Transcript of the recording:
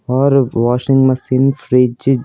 और washing machine fridge --